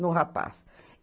no rapaz.